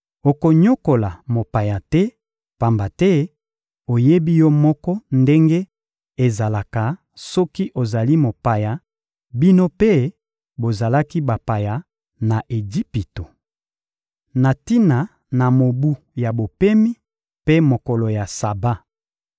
Okonyokola mopaya te, pamba te oyebi yo moko ndenge ezalaka soki ozali mopaya; bino mpe bozalaki bapaya na Ejipito. Na tina na mobu ya bopemi mpe mokolo ya Saba